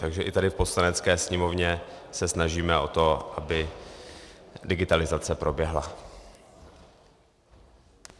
Takže i tady v Poslanecké sněmovně se snažíme o to, aby digitalizace proběhla.